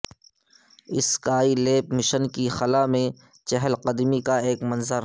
sky lab mission کی خلا میں چہل قدمی کا ایک منظر